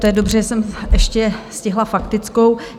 To je dobře, že jsem ještě stihla faktickou.